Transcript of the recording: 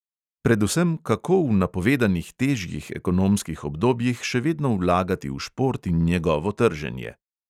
Predvsem, kako v napovedanih težjih ekonomskih obdobjih še vedno vlagati v šport in njegovo trženje.